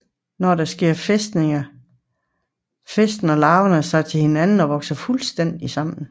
Når det sker fæstner larverne sig til hinanden og vokser fuldstændigt sammen